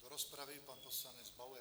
Do rozpravy pan poslanec Bauer.